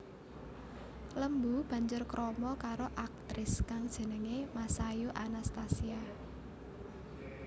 Lembu banjur krama karo aktris kang jenengé Masayu Anastasia